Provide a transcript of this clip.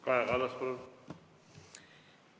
Kaja Kallas, palun!